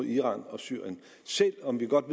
iran og syrien selv om vi godt